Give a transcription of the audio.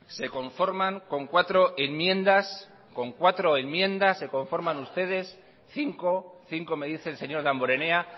se conforman con cuatro enmiendas con cuatro enmiendas se conforman ustedes cinco cinco me dice el señor damborenea